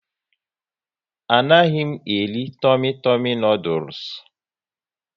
A naghị m eri Tumi Tumi noodules